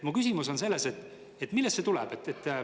Mu küsimus on selles, et millest see tuleb.